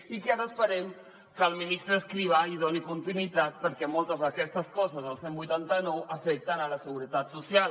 i que ara esperem que el ministre escrivá hi doni continuïtat perquè moltes d’aquestes coses del cent i vuitanta nou afecten la seguretat social